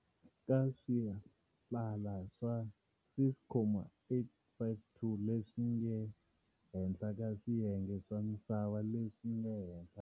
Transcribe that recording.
Ka swihlala swa 6,852 leswi nge henhla ka swiyenge swa misava leswinge henhla.